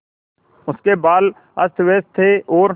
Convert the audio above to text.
उसके बाल अस्तव्यस्त थे और